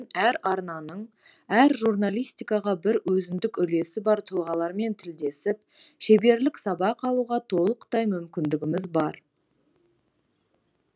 әр арнаның әр журналистикаға бір өзіндік үлесі бар тұлғалармен тілдесіп шеберлік сабақ алуға толықтай мүмкіндіміз бар